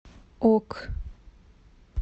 ок